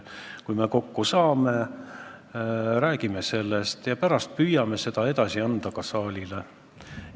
Kui me kokku saame, räägime sellest ja püüame pärast seda juttu ka saalile edasi anda.